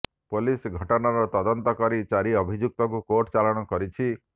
police ଘଟଣାର ତଦନ୍ତ କରି ଚାରି ଅଭିଯୁକ୍ତଙ୍କୁ କୋର୍ଟ ଚାଲାଣ କରିଛି